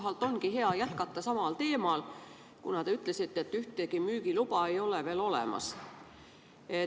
Siit ongi hea jätkata samal teemal, kuna te ütlesite, et ühtegi müügiluba ei ole veel olemas.